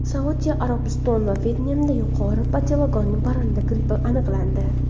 Saudiya Arabistoni va Vyetnamda yuqori patogenli parranda grippi aniqlandi.